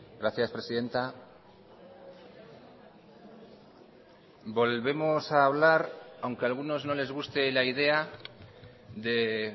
gracias presidenta volvemos a hablar aunque a algunos no les guste la idea de